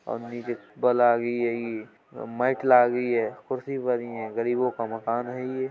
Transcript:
और मही जे लागी है ये और मेट लगी कुर्सी परी ऐं गरीबो का है ये --